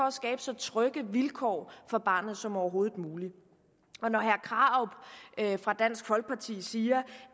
at skabe så trygge vilkår for barnet som overhovedet muligt når herre krarup fra dansk folkeparti siger